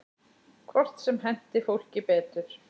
Hvort sem henti fólki betur.